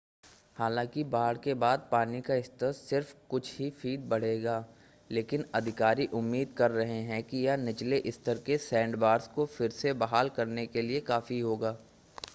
हालांकि बाढ़ के बाद पानी का स्तर सिर्फ़ कुछ ही फ़ीट बढ़ेगा लेकिन अधिकारी उम्मीद कर रहे हैं कि यह निचले स्तर के सैंडबार्स को फिर से बहाल करने के लिए काफ़ी होगा